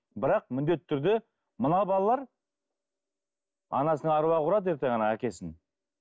бірақ міндетті түрде мына балалар анасының аруағы ұрады ертең ана әкесін